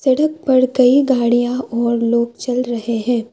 सड़क पर कई गाड़ियां और लोग चल रहे है।